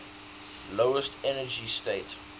lowest energy state